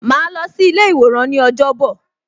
Ma lọ sí ilé iworan ni ọjọ́ bọ̀